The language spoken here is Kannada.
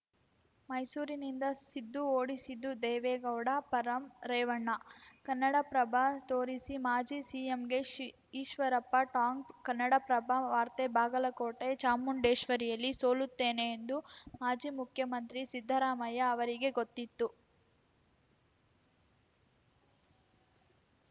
ಮೈಸೂರಿನಿಂದ ಸಿದ್ದು ಓಡಿಸಿದ್ದು ದೇವೇಗೌಡ ಪರಂ ರೇವಣ್ಣ ಕನ್ನಡಪ್ರಭ ತೋರಿಸಿ ಮಾಜಿ ಸಿಎಂಗೆ ಶ್ ಈಶ್ವರಪ್ಪ ಟಾಂಗ್‌ ಕನ್ನಡಪ್ರಭ ವಾರ್ತೆ ಬಾಗಲಕೋಟೆ ಚಾಮುಂಡೇಶ್ವರಿಯಲ್ಲಿ ಸೋಲುತ್ತೇನೆ ಎಂದು ಮಾಜಿ ಮುಖ್ಯಮಂತ್ರಿ ಸಿದ್ದರಾಮಯ್ಯ ಅವರಿಗೆ ಗೊತ್ತಿತ್ತು